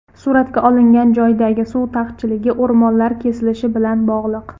Surat olingan joydagi suv taqchilligi o‘rmonlar kesilishi bilan bog‘liq.